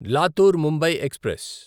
Latur Mumbai express